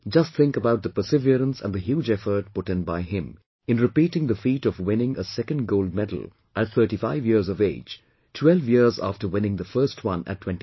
Just think about the perseverance and the huge effort put in by him in repeating the feat of winning a second gold medal at 35 years of age 12 years after winning the first one at 23